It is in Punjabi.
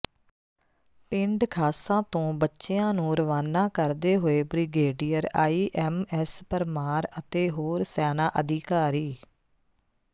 ਪਿੰਡ ਖਾਸਾ ਤੋਂ ਬੱਚਿਆਂ ਨੂੰ ਰਵਾਨਾ ਕਰਦੇ ਹੋਏ ਬ੍ਰਿਗੇਡੀਅਰ ਆਈਐਮਐਸ ਪਰਮਾਰ ਅਤੇ ਹੋਰ ਸੈਨਾ ਅਧਿਕਾਰੀ